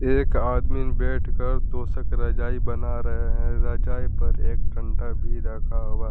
एक आदमीन बैठकर तोशक रजाई बना रहे हैं रजाई पर एक डंडा भी रखा हुआ--